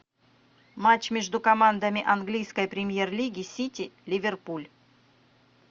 матч между командами английской премьер лиги сити ливерпуль